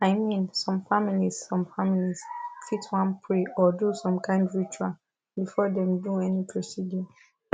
i mean some families some families fit wan pray or do some kind ritual before dem do any procedure